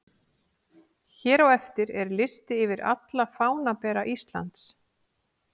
Hér á eftir er listi yfir alla fánabera Íslands: